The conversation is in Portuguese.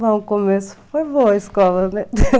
Bom, o começo foi boa a escola, né?